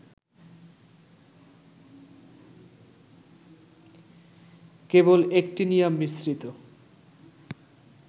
কেবল actinium মিশ্রিত